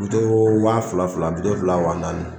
Bitɔn wa fila fila bitɔn fila wa naani